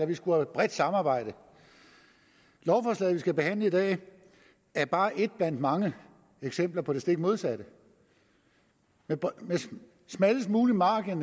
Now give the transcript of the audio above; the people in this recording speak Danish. vi skulle have bredt samarbejde lovforslaget vi skal behandle i dag er bare et blandt mange eksempler på det stik modsatte med næsten smallest mulig margen